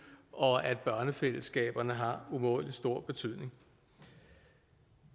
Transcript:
og at børnefællesskaberne har umådelig stor betydning